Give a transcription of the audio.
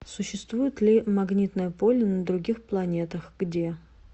существует ли магнитное поле на других планетах где